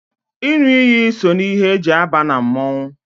ịṅụ iyi so na ihe e ji aba na mmọnwụ